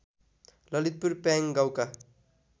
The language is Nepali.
ललितपुर प्याङ गाउँका